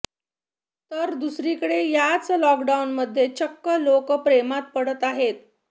तर दुसरीकडे याच लॉकडाऊनमध्ये चक्क लोकं प्रेमात पडत आहेत